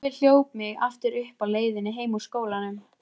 Sölvi hljóp mig aftur uppi á leiðinni heim úr skólanum.